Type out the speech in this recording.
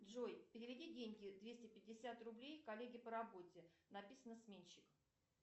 джой переведи деньги двести пятьдесят рублей коллеге по работе написано сменщик